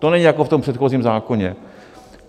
To není jako v tom předchozím zákoně.